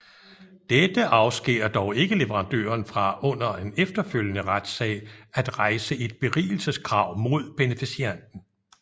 Dette afskærer dog ikke leverandøren fra under en efterfølgende retssag at rejse et berigelseskrav mod beneficianten